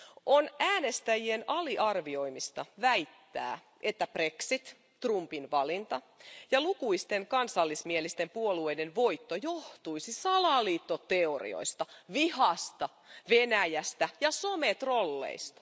On äänestäjien aliarvioimista väittää, että brexit, Trumpin valinta ja lukuisten kansallismielisten puolueiden voitto johtuisi salaliittoteorioista, vihasta, Venäjästä ja sometrolleista.